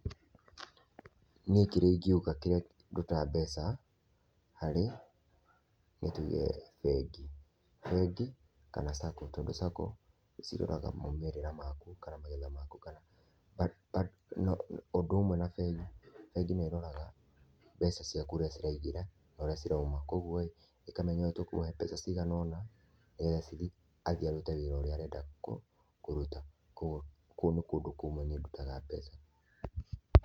Niĩ kĩrĩa ingiuga kiria ndũtaga mbeca harĩ nĩtũge bengi, bengi kana sacco tondũ sacco nĩciroraga maumĩrĩra maku kana magetha maku kana, ũndũ ũmwe na bengi, bengi nĩ ĩroraga mbeca cĩaku ũrĩa ciraĩngĩra na ũrĩa cirauma. Kwa ũgũo ĩkamenya ũyũ tũkũmũhe mbeca cigana ona nigetha cithiĩ athie arute wira ũria arenda kũrũta kwa ũgũo kũu ni kũndũ kũmwe nĩe ndutaga mbeca.